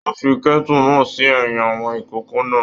Wọn fí kẹ́tu náà sí ẹyin àwọn ìkòkò náà.